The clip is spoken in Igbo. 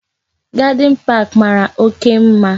Gadin park mara oke mma